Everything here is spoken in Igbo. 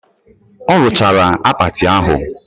Ọ rụchara akpati ahụ